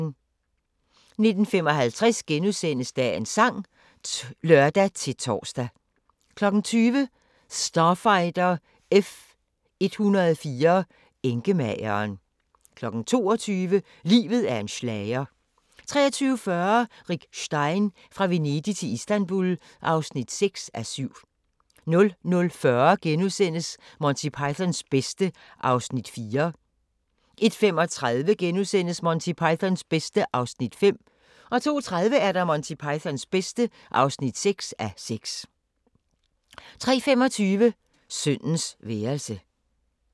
19:55: Dagens sang *(lør-tor) 20:00: Starfighter F-104 – enkemageren 22:00: Livet er en schlager 23:40: Rick Stein: Fra Venedig til Istanbul (6:7) 00:40: Monty Pythons bedste (4:6)* 01:35: Monty Pythons bedste (5:6)* 02:30: Monty Pythons bedste (6:6) 03:25: Sønnens værelse